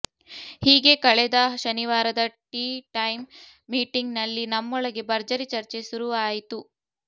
ಹೀಗೇ ಕಳೆದ ಶನಿವಾರದ ಟೀಟೈಮ್ ಮೀಟಿಂಗ್ನಲ್ಲಿ ನಮ್ಮೊಳಗೆ ಭರ್ಜರಿ ಚರ್ಚೆ ಸುರುವಾಯಿತು